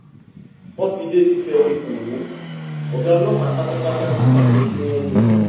pọ́tidé ti fẹnu kò ó ọ̀gá ọlọ́pàá pátápátá ti pàṣẹ kí wọ́n mú un